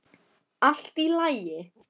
Allt í lagi!